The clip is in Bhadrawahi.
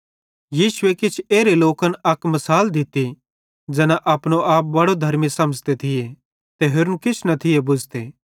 यीशुए किछ एरे लोकन अक मिसाल दित्ती कि ज़ैन अपनो आपे बड़ो धर्मी समझ़ते थिये ते होरन किछ न थिये बुझ़ते